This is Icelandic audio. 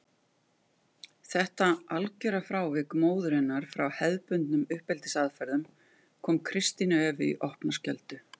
Þetta algjöra frávik móður hennar frá hefðbundnum uppeldisaðferðum kom Kristínu Evu í opna skjöldu.